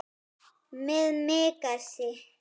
Með Megasi.